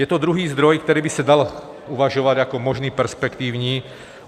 Je to druhý zdroj, který by se dal uvažovat jako možný perspektivní.